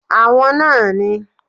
Àwọn náà ni